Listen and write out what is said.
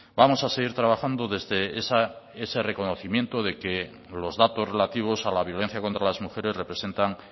vamos a seguir trabajando desde ese reconocimiento de que los datos relativos a la violencia contra las mujeres representan